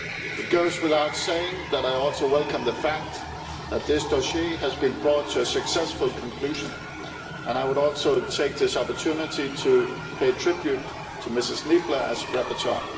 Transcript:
It goes without saying that I also welcome the fact that this dossier has been brought to a successful conclusion, and I would also like to take this opportunity to pay tribute to Ms Niebler as rapporteur.